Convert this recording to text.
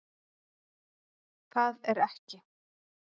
Það er ekki